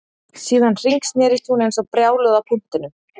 Síðan hringsnerist hún eins og brjáluð á punktinum